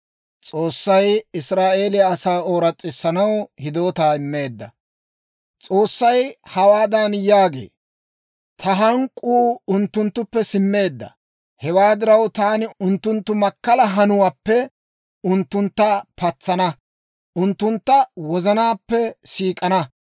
S'oossay hawaadan yaagee; «Ta hank'k'uu unttunttuppe simmeedda; hewaa diraw, taani unttunttu makkalaa hanuwaappe unttuntta patsana; unttuntta wozanaappe siik'ana.